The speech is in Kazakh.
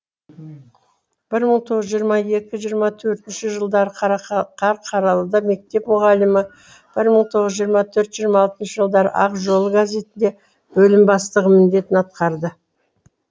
бір мың тоғыз жүз жиырма екі жиырма төртінші жылдары қарқаралыда мектеп мүғалімі бір мың тоғыз жүз жиырма төртінші жиырма алтыншы жылдары ақ жол газетінде бөлім бастығы міндетін атқарды